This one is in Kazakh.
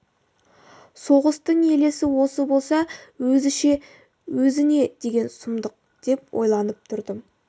соғыстың елесі осы болса өзі ше өзі не деген сұмдық деп ойланып тұрдым